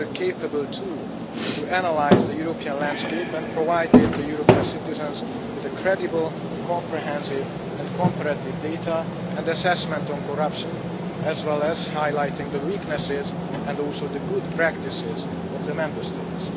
This was capable tool to analyse the European landscape and provided the European citizens with credible, comprehensive and comparative data and assessment on corruption, as well as highlighting the weaknesses and also the good practices of the Member States.